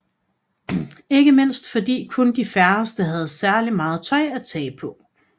Ikke mindst fordi kun de færreste havde særlig meget tøj at tage på